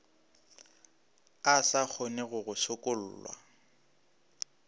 a sa kgonego go sokollwa